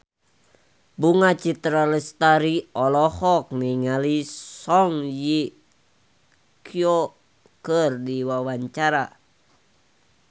Bunga Citra Lestari olohok ningali Song Hye Kyo keur diwawancara